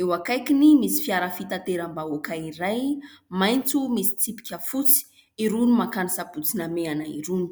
Eo akaikiny misy fiara fitateram-bahoaka iray, maitso misy tsipika fotsy, irony mankany Sabotsy Namehana irony.